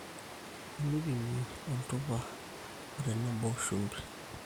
teipimi oltupa otenebo shumbi